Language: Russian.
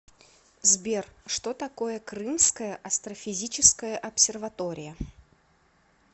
сбер что такое крымская астрофизическая обсерватория